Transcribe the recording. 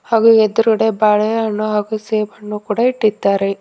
ಹಾಗು ಎದುರುಗಡೆ ಬಾಳೆಹಣ್ಣು ಹಾಗು ಸೇಬುಹಣ್ಣು ಕೂಡ ಇಟ್ಟಿದ್ದಾರೆ.